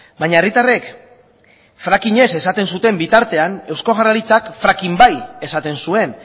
baina herritarrek fracking ez esaten zuten bitartean eusko jaurlaritzak fracking bai esaten zuen